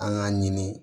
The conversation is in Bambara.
An k'a ɲini